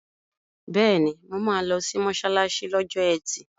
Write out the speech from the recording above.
Bẹ́ẹ̀ni, mo máa lọ sí mọ́ṣáláṣí lọ́jọ́ ẹtì.